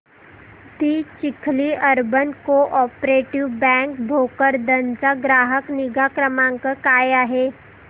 दि Chikhli urban cooperative bank Bhokardan चा ग्राहक निगा क्रमांक काय आहे